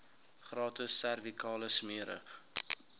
gratis servikale smere